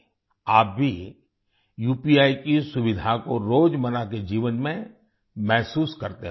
आप भी उपी की सुविधा को रोज़मर्रा के जीवन में महसूस करते होंगे